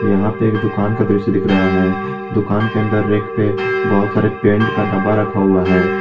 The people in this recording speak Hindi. यहां पे एक दुकान का दृश्य दिख रहा है दुकान के अंदर रैक पे बहुत सारे पेंट का डब्बा रखा हुआ है।